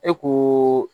E ko